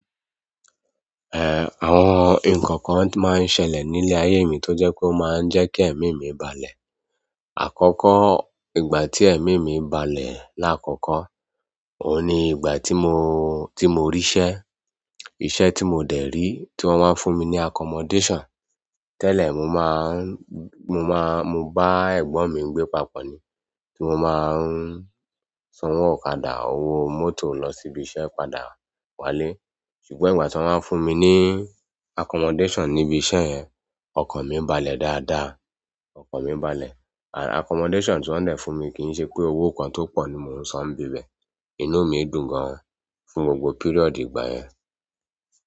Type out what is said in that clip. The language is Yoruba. Àwọn nǹkan kan tún máa ń ṣẹlẹ̀ nílé ayé mi tó jẹ́ pé ó máa ń jẹ́ kí ẹ̀mí mi balẹ̀. Àkọ́kọ́, ìgbà tí ẹ̀mí mi balẹ̀ láàkọ́kọ́, òun ni ìgbà tí mo, tí mo rí'ṣẹ́. Iṣẹ́ tí mo dẹ̀ rí, tí wọ́n wá fún mi ní accommodation. Tẹ́lẹ̀, mo máa ń— mo máa—mo bá ẹ̀gbọ́n mi gbé papọ̀ ni, tí mo máa ń sanwó ọ̀kadà, owó mọ́tò lọ síbi iṣẹ́, padà wálé. Ṣùgbọ́n ìgbà tí wọ́n wá fún mi ní accommodation níbi iṣẹ́ yẹn, ọkàn mi balẹ̀ dáadáa, ọkàn mi balẹ̀. Accommodation tí wọ́n dẹ̀ fún mi, kì í ṣe pé owó kan tó pọ̀ ni mo ń san níbẹ̀. Inú mi dùn gan-an fún gbogbo period ìgbà yẹn.